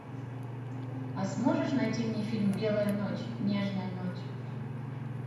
а сможешь найти мне фильм белая ночь нежная ночь